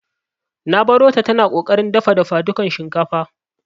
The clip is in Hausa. Nq barota tana ƙoƙarin dafa dafadukan shinkafa.